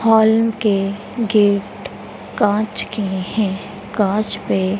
hall के gate कांच के हैं कांच पे--